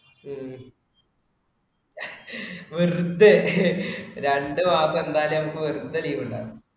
ഉം വെറുതെ രണ്ടു മാസം എന്തായാലും അപ്പൊ ഒറ്റ leave ഉണ്ടാവില്ല.